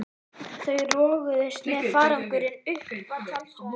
Þau roguðust með farangurinn upp að tjaldstæðinu.